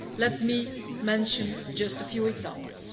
Let me mention just a few examples.